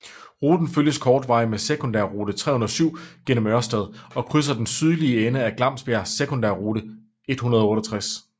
Ruten følges kortvarigt med sekundærrute 307 gennem Ørsted og krydser i den sydlige ende af Glamsbjerg sekundærrute 168